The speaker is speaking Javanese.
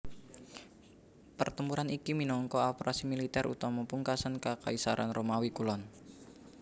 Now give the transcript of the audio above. Pertempuran iki minangka operasi militer utama pungkasan Kakaisaran Romawi Kulon